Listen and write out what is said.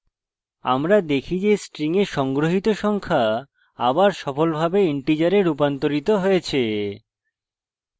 আমরা দেখি যে string we সংগ্রহিত সংখ্যা আবার সফলভাবে integer রূপান্তরিত হয়েছে